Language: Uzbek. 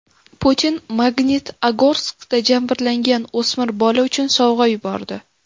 Putin Magnitogorskda jabrlangan o‘smir bola uchun sovg‘a yubordi.